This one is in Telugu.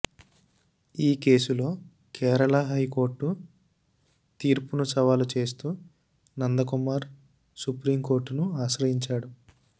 ఈ కేసులో కేరళ హైకోర్టు తీర్పును సవాలు చేస్తూ నందకుమార్ సుప్రీం కోర్టును ఆశ్రయించాడు